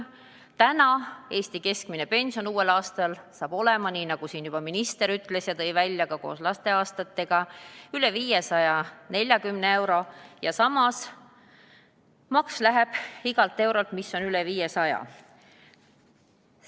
Uuel aastal hakkab Eesti keskmine pension olema, nagu minister siin juba ütles, koos lasteaastatega üle 540 euro, aga samas läheb igalt eurolt, mis on üle 500, tulumaks maha.